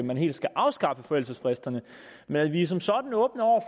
man helt skal afskaffe forældelsesfristerne men vi er som sådan åbne over